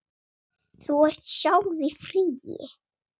Þú ert sjálf í fríi.